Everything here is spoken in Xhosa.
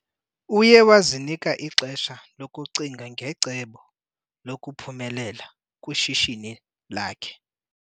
Uye wazinika ixesha lokucinga ngecebo lokuphumelela kwishishini lakhe.